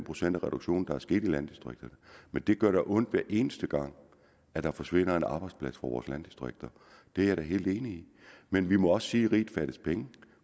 procent af reduktionen der er sket i landdistrikterne men det gør da ondt hver eneste gang der forsvinder en arbejdsplads fra vores landdistrikter det er jeg da helt enig i men vi må også sige at riget fattes penge